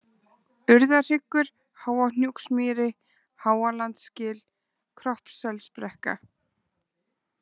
Urðarhryggur, Háahnúksmýri, Háalandsgil, Kroppsselsbrekka